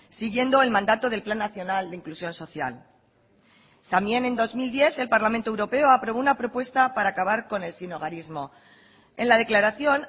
siguiendo el mandato del plan nacional de inclusión social también en dos mil diez el parlamento europeo aprobó una propuesta para acabar con el sinhogarismo en la declaración